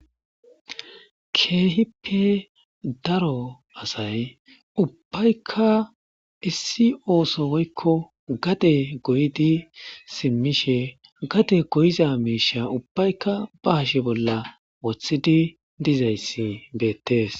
Keehippe daro asay ubbayka issi ooso woyko gade goyidi simishe gade goyiza mishsha ubbaya ba hashe bolla wothidi dizaysi bettes.